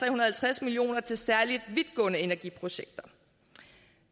og halvtreds million kroner til særlig vidtgående energiprojekter